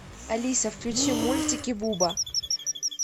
алиса включи мультики буба